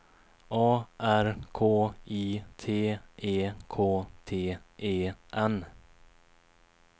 A R K I T E K T E N